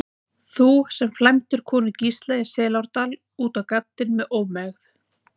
Þú, sem flæmdir konu Gísla í Selárdal út á gaddinn með ómegð.